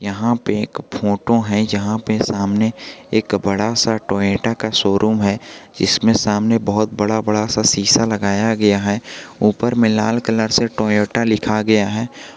यहां पे एक फोटो है जहां पे सामने एक बड़ा सा टोयोटा का शोरूम है जिसमें सामने बहुत बड़ा बड़ा सा सीसा लगाया गया है ऊपर में लाल कलर से टोयोटा लिखा गया है।